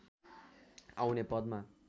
आउने पदमा